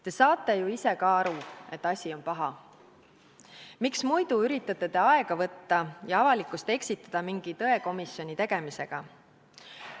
Te saate ju ise ka aru, et asi on paha, miks te muidu üritate aega võtta ja avalikkust eksitada mingi tõekomisjoni tegemisega.